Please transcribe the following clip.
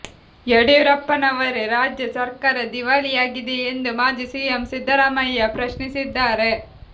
ಯಡಿಯೂರಪ್ಪನವರೆ ರಾಜ್ಯ ಸರ್ಕಾರ ದಿವಾಳಿಯಾಗಿದೆಯೇ ಎಂದು ಮಾಜಿ ಸಿಎಂ ಸಿದ್ದರಾಮಯ್ಯ ಪ್ರಶ್ನಿಸಿದ್ದಾರೆ